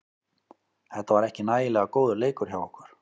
Þetta var ekki nægilega góður leikur hjá okkur.